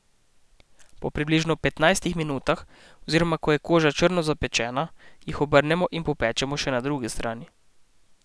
Po približno petnajstih minutah, oziroma ko je koža črno zapečena, jih obrnemo in popečemo še na drugi strani.